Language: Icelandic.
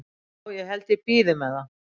Já held að ég bíði með það.